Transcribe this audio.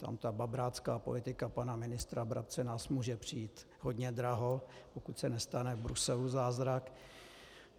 Tam ta babrácká politika pana ministra Brabce nás může přijít hodně draho, pokud se nestane v Bruselu zázrak.